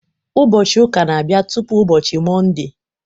Ụbọọchi ụka n'abia tụpụ ụbọchị Mọnde